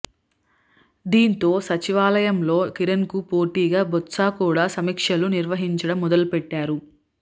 దీంతో సచివాలయంలో కిరణ్ కు పోటీగా బొత్స కూడా సమీక్షలు నిర్వహించడం మొదలుపెట్టారు